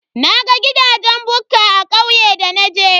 Naga gidajen bukka a kauye da naje.